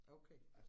Okay